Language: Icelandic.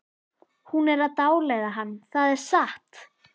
Hún er að dáleiða hann, það er satt!